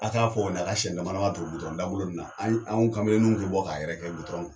A ka fɔ u ɲɛna a ka siɲɛ dama dama ton dagolo nunnu na, anw kamalenninw be bɔ ka yɛrɛkɛ